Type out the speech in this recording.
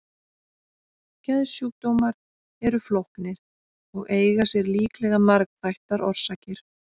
Geðsjúkdómar eru flóknir og eiga sér líklega margþættar orsakir.